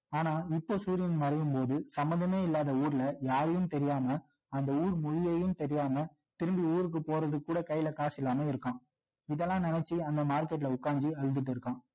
ஆனா இப்போ சூரியன் மறையும் போது சமந்தமே இல்லாத ஊருல யாரயும் தெரியாம அந்த ஊர் பொழியையும் தெரியாம திரும்பி ஊருக்கு போறதுக்குக் கூட கையில காசு இல்லாம இருக்கான் இதெல்லாம் நினைச்சு அங்க market ல உட்கார்ந்து அழுதுட்டு இருக்கான்